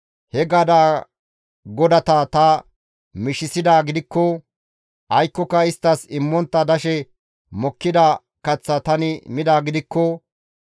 he gadaa godata ta mishisidaa gidikko, aykkoka isttas immontta dashe mokkida kaththa tani midaa gidikko,